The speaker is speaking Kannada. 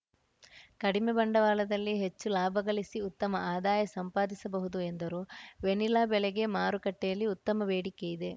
ಕಡಿಮೆ ಬಂಡವಾಳದಲ್ಲಿ ಹೆಚ್ಚು ಲಾಭ ಗಳಿಸಿ ಉತ್ತಮ ಆದಾಯ ಸಂಪಾದಿಸಬಹುದು ಎಂದರು ವೆನಿಲಾ ಬೆಳೆಗೆ ಮಾರುಕಟ್ಟೆಯಲ್ಲಿ ಉತ್ತಮ ಬೇಡಿಕೆಯಿದೆ